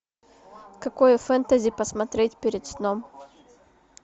какое фэнтези посмотреть перед сном